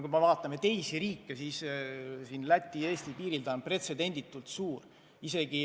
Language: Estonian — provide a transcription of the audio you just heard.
Kui me võrdleme teiste riikidega, siis Läti-Eesti piiril on see pretsedenditult suur.